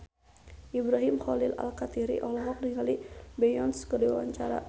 Ibrahim Khalil Alkatiri olohok ningali Beyonce keur diwawancara